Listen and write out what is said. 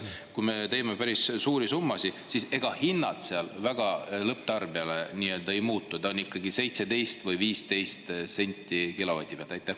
… kui me teeme päris suuri summasid, siis ega hinnad seal väga lõpptarbijale ei muutu, ta on ikka 17 või 15 senti kilovati pealt.